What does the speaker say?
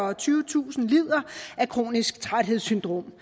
og tyvetusind lider af kronisk træthedssyndrom